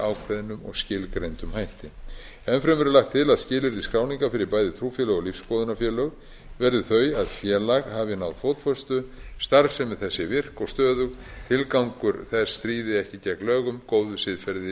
ákveðnum og skilgreindum hætti enn fremur er lagt til að skilyrði skráningar fyrir bæði trúfélög og lífsskoðunarfélög verði þau að félag hafi náð fótfestu starfsemi þess sé virk og stöðug tilgangur þess stríði ekki gegn lögum góðu siðferði